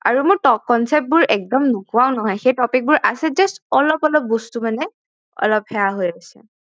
আৰু মই concept বোৰ একদম নোপোৱাও নহয় সেই topic বোৰ আছে just অলপ অলপ বস্তু মানে অলপ সেয়া হৈ আছে